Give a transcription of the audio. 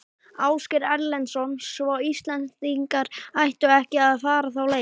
Ásgeir Erlendsson: Svo Íslendingar ættu ekki að fara þá leið?